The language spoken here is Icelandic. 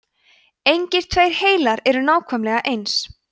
engir tveir heilar eru nákvæmlega eins